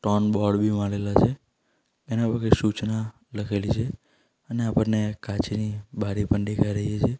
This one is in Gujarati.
ત્રણ બોર્ડ બી મારેલા છે એના પર કાંઈ સૂચના લખેલી છે અને આપણને કાચની બારી પણ દેખાય રહી છે.